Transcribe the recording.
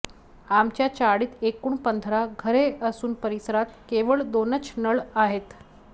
आमच्या चाळीत एकूण पंधरा घरे असून परिसरात केवळ दोनच नळ आहेत